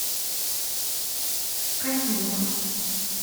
касимов